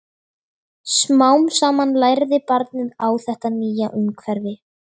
Smám saman lærði barnið á þetta nýja umhverfi.